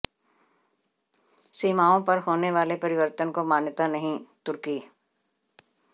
सीमाओं पर होने वाले परिवर्तन को मान्यता नहींः तुर्की